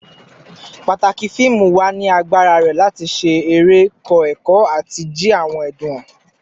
Pataki fiimu wa ni agbara rẹ lati ṣe ere, kọ ẹkọ, ati ji awọn ẹdun han